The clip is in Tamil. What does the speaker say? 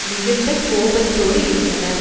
மிகுந்த கோபத்தோடு இருந்தனர்